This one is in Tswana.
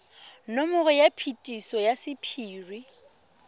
nomoro ya phetiso ya sephiri